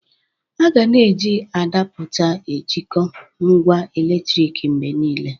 A ga na-eji adapụta ejikọọ ngwa eletriki mgbe niile.